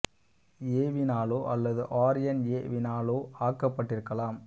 ஏ வினாலோ அல்லது R N A வினாலோ ஆக்கப்பட்டிருக்கலாம்